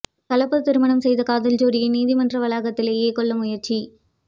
கலப்பு திருமணம் செய்த காதல் ஜோடியை நீதிமன்ற வளாகத்திலேயே கொல்ல முயற்சி